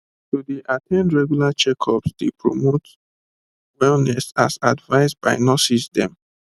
to dey at ten d regular checkups dey promote wellness as advised by nurses dem